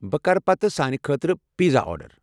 بہٕ کرٕ پتہٕ سانہِ خٲطرٕ پزا آرڈر۔